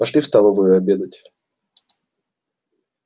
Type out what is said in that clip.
пошли в столовую обедать